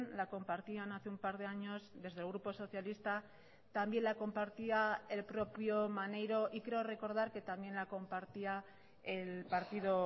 la compartían hace un par de años desde el grupo socialista también la compartía el propio maneiro y creo recordar que también la compartía el partido